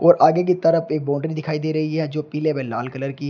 और आगे की तरफ एक बाउंड्री दिखाई दे रही है जो पीले व लाल कलर की है।